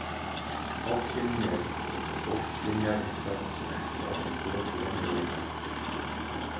Ofskynjun er þegar fólk skynjar eitthvað sem ekki á sér stoð í raunveruleikanum.